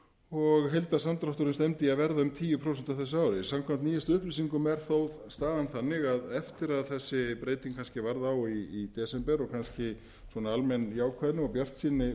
og heildarsamdrátturinn stefndi í að verða um tíu prósent á þessu ári samkvæmt nýjustu upplýsingum er þó staðan þannig að eftir að þessi breyting varð á í desember og kannski svona almenn jákvæðni og bjartsýni